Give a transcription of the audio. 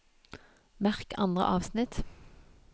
Merk andre avsnitt